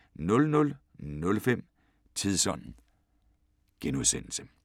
00:05: Tidsånd *